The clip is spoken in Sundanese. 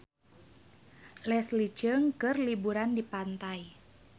Leslie Cheung keur liburan di pantai